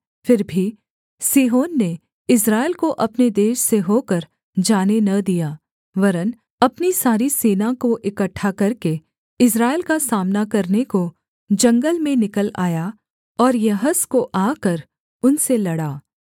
फिर भी सीहोन ने इस्राएल को अपने देश से होकर जाने न दिया वरन् अपनी सारी सेना को इकट्ठा करके इस्राएल का सामना करने को जंगल में निकल आया और यहस को आकर उनसे लड़ा